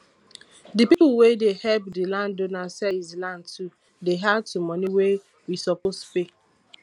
the people wey dey help the landowner sell his land too dey add to money wey we suppose pay